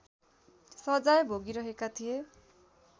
सजाय भोगिरहेका थिए